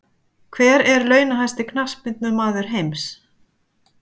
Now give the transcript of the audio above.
Hver er launahæsti Knattspyrnumaður heims?